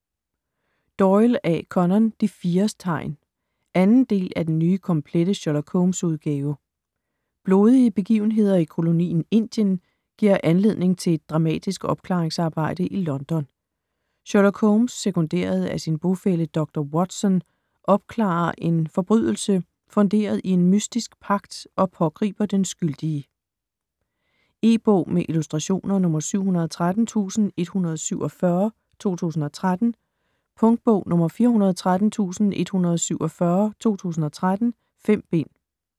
Doyle, A. Conan: De fires tegn 2. del af Den nye komplette Sherlock Holmes-udgave. Blodige begivenheder i kolonien Indien giver anledning til et dramatisk opklaringsarbejde i London. Sherlock Holmes sekunderet af sin bofælle dr. Watson opklarer en forbrydelse funderet i en mystisk pagt og pågriber den skyldige. E-bog med illustrationer 713147 2013. Punktbog 413147 2013. 5 bind.